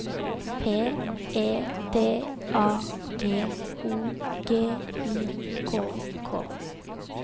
P E D A G O G I K K